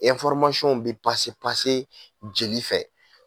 bi jeli fɛ